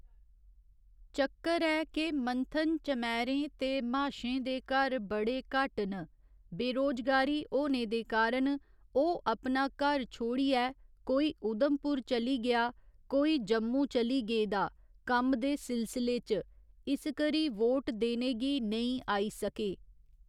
चक्कर ऐ के मंथन चमैरें ते म्हाशें दे घर बडे़े घट्ट न बेरोजगारी होने दे कारण ओह् अपना घर छोड़ियै कोई उधमपुर चली गेआ कोई जम्मू चली गेदा कम्म दे सिलसले च इसकरी वोट देने गी नेईं आई सके